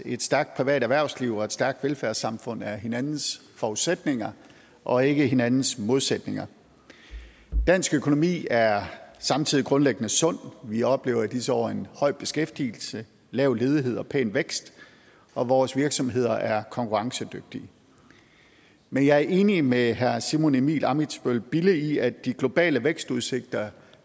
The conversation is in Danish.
et stærkt privat erhvervsliv og et stærkt velfærdssamfund er hinandens forudsætninger og ikke hinandens modsætninger dansk økonomi er samtidig grundlæggende sund vi oplever i disse år høj beskæftigelse lav ledighed og pæn vækst og vores virksomheder er konkurrencedygtige men jeg er enig med herre simon emil ammitzbøll bille i at de globale vækstudsigter